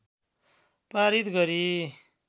पारित गरी